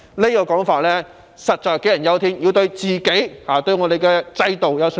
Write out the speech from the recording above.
這種說法實在杞人憂天，我們要對自己、對我們的制度有信心。